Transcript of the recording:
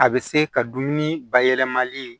A bɛ se ka dumuni bayɛlɛmali